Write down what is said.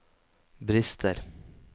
brister